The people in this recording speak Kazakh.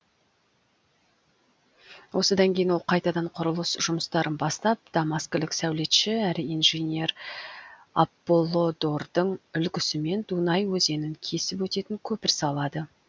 осыдан кейін ол қайтадан құрылыс жұмыстарын бастап дамаскілік сәулетші әрі инженер аполлодордың үлгісімен дунай өзенін кесіп өтетін көпір салады